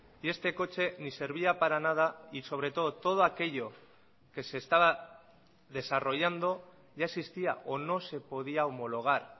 y este coche ni servía para nada y sobre todo todo aquello que se estaba desarrollando ya existía o no se podía homologar